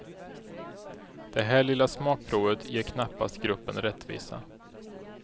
Det här lilla smakprovet ger knappast gruppen rättvisa.